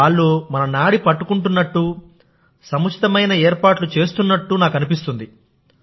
వాళ్ళు మన నాడి పట్టుకుంటున్నట్టు సముచితమైన ఏర్పాట్లు చేస్తున్నట్టు నాకు అనిపిస్తుంది